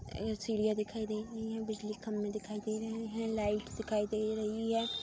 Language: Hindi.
एगो चिडियाँ दिखाई दे रही है। बिजली के खम्भे दिखाई दे रहें हैं। लाइट दिखाई दे रही है।